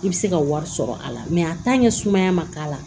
I bɛ se ka wari sɔrɔ a la sumaya man k'a la